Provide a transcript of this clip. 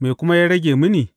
Me kuma ya rage mini?